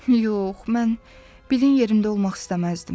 Yox, mən Bilin yerində olmaq istəməzdim.